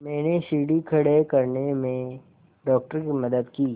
मैंने सीढ़ी खड़े करने में डॉक्टर की मदद की